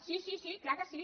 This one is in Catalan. sí sí és clar que sí